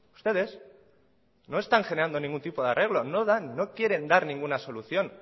ustedes no están generando ningún tipo de arreglo no dan no quieren dar ninguna solución